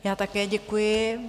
Já také děkuji.